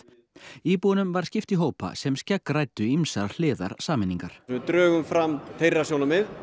íbúunum var skipt í hópa sem skeggræddu ýmsar hliðar sameiningar við drögum fram þeirra sjónarmið